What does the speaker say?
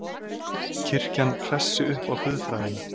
Kirkjan hressi upp á guðfræðina